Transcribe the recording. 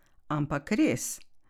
Ampak res!